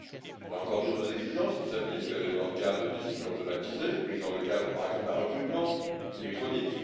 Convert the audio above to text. Il y a encore d'autres exigences qui s'appliquent dans le cas de décisions automatisées prises dans le cadre, par exemple, d'un recrutement électronique.